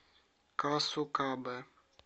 касукабе